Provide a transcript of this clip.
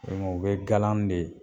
u bɛ galan de